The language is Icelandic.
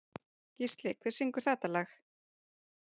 Gísli, hver syngur þetta lag?